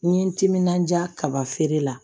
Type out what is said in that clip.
N ye n timinandiya kaba feere la